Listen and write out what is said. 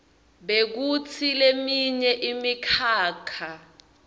bekutsi leminye imikhakha